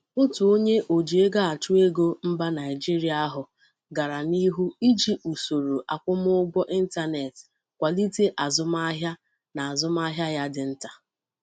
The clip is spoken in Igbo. Otu onye oji ego achụ ego mba Naijeria ahụ gara n'ihu iji usoro akwụmụgwọ ịntanetị kwalite azụmahịa n'azumahia ya dị nta.